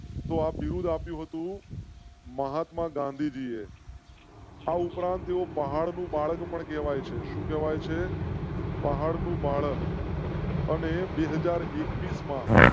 તો આપ બિરુદ આપ્યું હતું. મહાત્મા ગાંધીજીએ. આ ઉપરાંત તેઓ પહાડ નું બાળક પણ કહેવાય છે. સુ કેવાય છે પહાડ નું બાળક. અને બે હાજર એકવીસ માં માં.